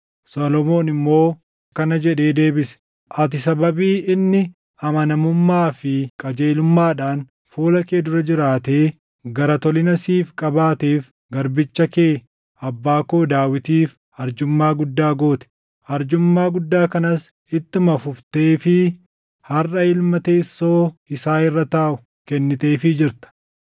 Solomoon immoo akkana jedhee deebise; “Ati sababii inni amanamummaa fi qajeelummaadhaan fuula kee dura jiraatee gara tolina siif qabaateef garbicha kee, abbaa koo Daawitiif arjummaa guddaa goote. Arjummaa guddaa kanas ittuma fufteefii harʼa ilma teessoo isaa irra taaʼu kenniteefii jirta.